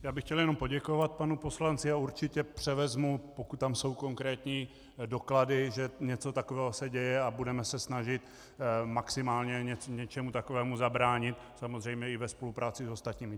Já bych chtěl jenom poděkovat panu poslanci a určitě převezmu, pokud tam jsou konkrétní doklady, že něco takového se děje, a budeme se snažit maximálně něčemu takovému zabránit, samozřejmě i ve spolupráci s ostatními.